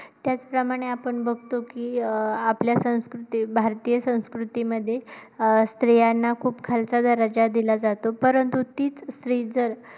त्याचप्रमाणे आपण बघतो कि अं आपल्या संस्कृती भारतीय संस्कृतीमध्ये अं स्त्रियांना खूप खालचा दर्जा दिला जातो परंतु तीच स्त्री जर